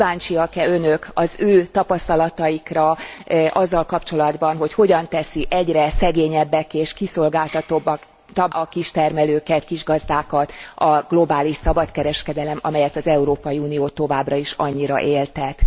Kíváncsiak e Önök az ő tapasztalataikra azzal kapcsolatban, hogy hogyan teszi egyre szegényebbekké és kiszolgáltatottabbakká a kistermelőket, kisgazdákat a globális szabadkereskedelem, amelyet az Európai Unió továbbra is annyira éltet.